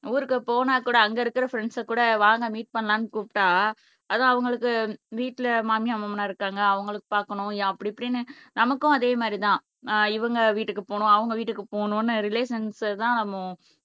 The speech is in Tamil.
ஊருக்கு போனா கூட அங்க இருக்குற ஃப்ரண்ட்ஸ் கூட வாங்க மீட் பண்ணலாம்னு கூப்பிட்டா அது அவங்களுக்கு வீட்ல மாமியார், மாமனார் இருக்காங்க அவங்களுக்கு பாக்கணும் அப்படி இப்படின்னு நமக்கும் அதே மாதிரி தான் அஹ் இவங்க வீட்டுக்கு போகணும் அவங்க வீட்டுக்கு போகணும்னு ரிலேஷன்ஸ் தான் நம்ம